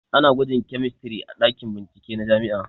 Ana gwajin kemistri a ɗakin bincike na jami'a